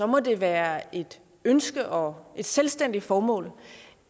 må det være et ønske og et selvstændigt formål